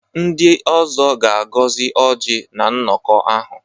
Ndị ọzọ ga-agọzi Ọji na nnọkọ ahụ.